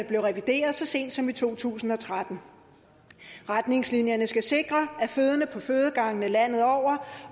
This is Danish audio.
blev revideret så sent som i to tusind og tretten retningslinjerne skal sikre at fødende på fødegangene landet over